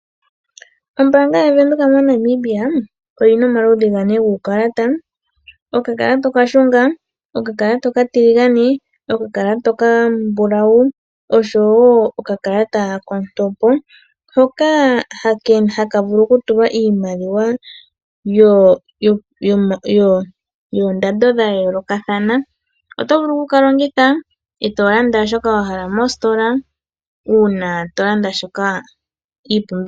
Ombaanga yaVenduka moNamibia oyina omaludhi gane guukalata okakalata okashunga, okakalata okatiligane, okakalata okambulawu ,oshowo okakalata kontopo hoka haka vulu okutulwa iimaliwa yoondando dha yoolokathana oto vulu o kukalongitha eto landa shoka wahala mositola uuna tolanda iipumbiwa.